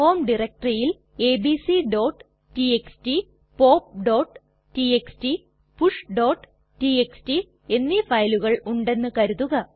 home ഡയറക്ടറിയിൽ abcടിഎക്സ്ടി popടിഎക്സ്ടി pushടിഎക്സ്ടി എന്നീ ഫയലുകൾ ഉണ്ടെന്ന് കരുതുക